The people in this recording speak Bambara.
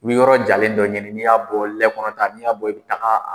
U b yɔrɔ jalen dɔ ɲini n'i y'a bɔ lɛ kɔnɔta n'i y'a bɔ i bɛ taa.